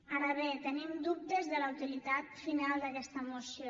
ara bé tenim dubtes de la utilitat final d’aquesta moció